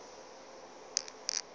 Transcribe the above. a napa a thoma go